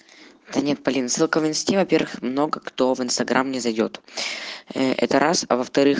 да нет полин ссылка в инесте во первых много кто в инстаграм не зайдёт это раз а во вторых